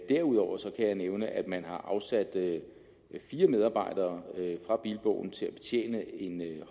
derudover kan jeg nævne at man har afsat fire medarbejdere fra bilbogen til at betjene en